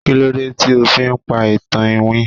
kilode ti o fi pa itan iwin